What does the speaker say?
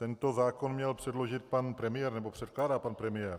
Tento zákon měl předložit pan premiér, nebo předkládá pan premiér.